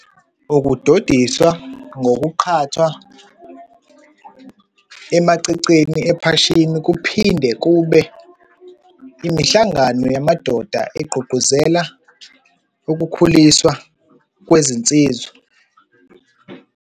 Ukudodiswa ngokuqhathwa emaceceni ephashini, kuphinde kube imihlangano yamadoda egqugquzela ukukhuliswa kwezinsizwa.